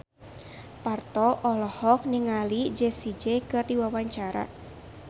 Parto olohok ningali Jessie J keur diwawancara